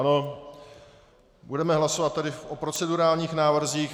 Ano, budeme hlasovat tedy o procedurálních návrzích.